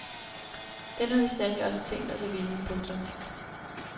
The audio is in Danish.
Den har vi sandelig også tænkt os at vinde. punktum